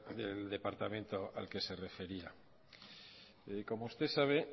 del departamento al que se refería como usted sabe